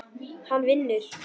Hann vinnur.